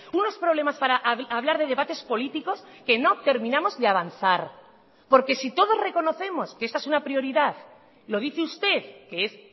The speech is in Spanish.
unos problemas para hablar de debates políticos que no terminamos de avanzar porque si todos reconocemos que esta es una prioridad lo dice usted que es